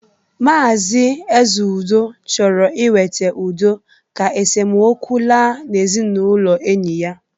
Maazi Ezeudo chọrọ iweta udo ka esomokwu laa n'ezinaụlọ enyi ya